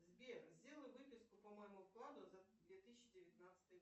сбер сделай выписку по моему вкладу за две тысячи девятнадцатый